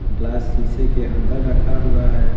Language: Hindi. ग्लास शीशे के अंदर रखा हुआ है।